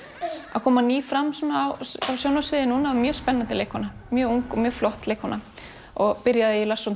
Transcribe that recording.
að koma ný fram á sjónarsviðið núna mjög spennandi leikkona mjög ung og mjög flott leikkona byrjaði í Lars von